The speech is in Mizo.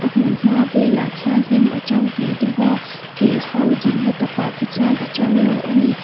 hmunhma velah khian hnim a to ve deuh a kel ho dinna takah khi chuan a to lo ani.